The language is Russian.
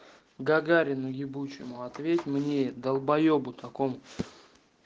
гагарину ебучему ответь мне долбоебу такому